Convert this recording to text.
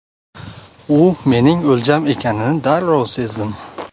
U mening o‘ljam ekanini darrov sezdim.